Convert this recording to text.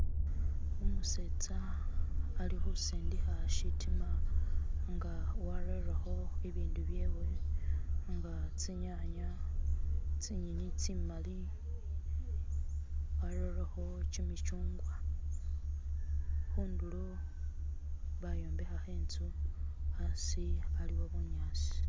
Umutsetsa ali ukusindikha tsitima enga warereko ebindu byewe, enga tsinyanya, tsinyinyi tsimali, arerekho kyimikyugwa, khunduro bayombekhakho etsu hasi haliwo bunyatsi